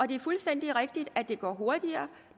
det er fuldstændig rigtigt at det går hurtigere